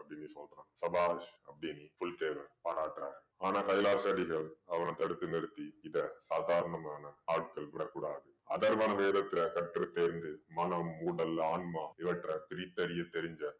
அப்படீன்னு சொல்றான். சபாஷ் அப்படீன்னு புலித்தேவர் பாராட்டுறாரு. ஆனா கைலாச அடிகள் அவனை தடுத்து நிறுத்தி இதை சாதாரணமான ஆட்கள் விட கூடாது. அதர்வண வேதத்துல கற்றுத் தேர்ந்து மனம், உடல், ஆன்மா இவற்றைப் பிரித்தறிய தெரிந்த